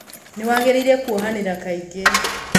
Nĩwangĩrĩire kwohanĩra kaingĩ.